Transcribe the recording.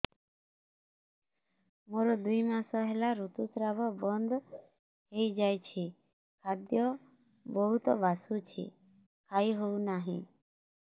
ମୋର ଦୁଇ ମାସ ହେଲା ଋତୁ ସ୍ରାବ ବନ୍ଦ ହେଇଯାଇଛି ଖାଦ୍ୟ ବହୁତ ବାସୁଛି ଖାଇ ହଉ ନାହିଁ